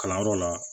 Kalanyɔrɔ la